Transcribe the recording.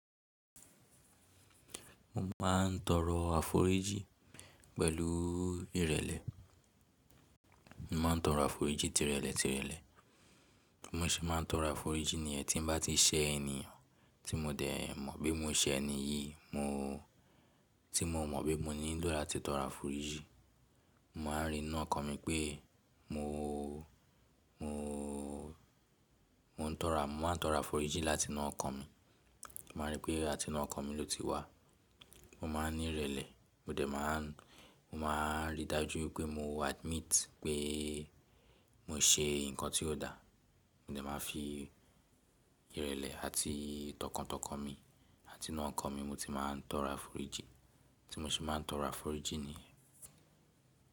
Mo máa ń tọrọ àforíjìn pẹ̀lú ìrẹ̀lẹ̀. Mo máa ń tọrọ àforíjìn tirelẹ̀ tirelẹ̀. Bí mo ṣe máa ń tọrọ àforíjìn niyẹ̀n tí n bá ti ṣẹ́ ẹniyan tí mo dẹ̀ mọ̀ pe mo ṣe ẹni yìí, mo tí mo mọ̀ pe mo nílò láti tọrọ àforíjìn. Mo máa ń ri n nu ọkàn mi pé mo, mo, mo ń tọrọ, mo máa ń tọrọ àforíjìn láti inú ọkàn mi. Mo máa rí pé àti inú ọkàn mi ló ti wá. Mo máa ń ní ìrẹ̀lẹ̀, mo dẹ̀ máa ń, mo máa ń rí dájú wipé mo admit pé mo ṣe nǹkan tí ó dà. Mo dẹ̀ máa fi ìrẹ̀lẹ̀ àti tọkàntọkàn mi àti inú ọkàn mi mo ti máa ń tọrọ àforíjìn. Bí mo ṣe máa ń tọrọ àforíjìn niyen.